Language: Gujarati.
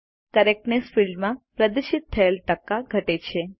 કરેક્ટનેસ ફિલ્ડમાં પ્રદર્શિત થયેલ ટકા ઘટે છે